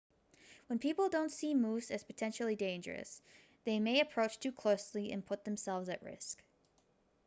when people don't see moose as potentially dangerous they may approach too closely and put themselves at risk